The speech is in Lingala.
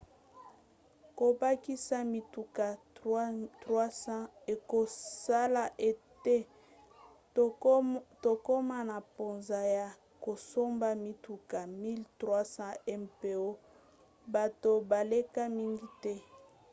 kobakisa mituka 300 ekosala ete tokoma na mposa ya kosomba mituka 1 300 mpo bato baleka mingi te